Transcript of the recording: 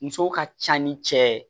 Muso ka ca ni cɛ ye